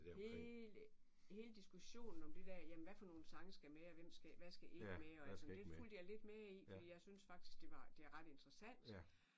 Hele hele diskussionen om det der jamen hvad for nogen sange skal med og hvem skal hvad skal ikke med og alt muligt det fulgte jeg faktisk lidt med i fordi jeg synes fsktisk det var det er ret interessant